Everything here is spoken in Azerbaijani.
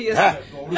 Hə, doğru.